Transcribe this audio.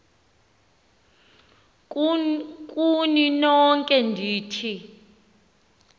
kuni nonke ndithi